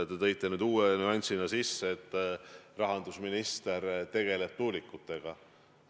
Te tõite uue nüansina sisse, et rahandusminister tegeleb tuulikutega.